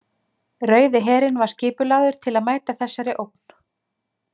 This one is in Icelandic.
Rauði herinn var skipulagður til að mæta þessari ógn.